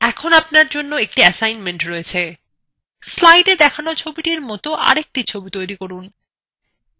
এখন আপনার জন্য একটা ছোট কাজ আছে slidea দেখান ছবিটির মত a একটি ছবি তৈরী করুন